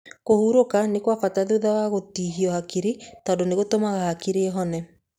Kũhurũka nĩ kwa bata thutha wa gũtihio hakiri tondũ nĩ gũtũmaga hakiri ihone.